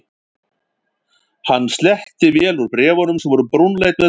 Hann sletti vel úr bréf- unum sem voru brúnleit með dökkrauðum strikum.